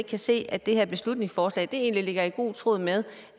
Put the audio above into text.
kan se at det her beslutningsforslag egentlig ligger i god tråd med